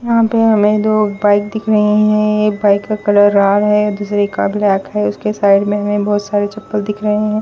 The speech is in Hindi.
यहां पे हमें दो बाइक दिख रहीं हैं एक बाइक का कलर लाल है दूसरे का ब्लैक है उसके साइड में हमें बहुत सारे चप्पल दिख रहे हैं।